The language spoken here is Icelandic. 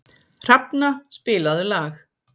Hrafna, spilaðu lag.